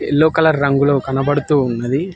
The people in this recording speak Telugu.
యెల్ల్లో కలర్ రంగులో కనబడుతూ ఉన్నది.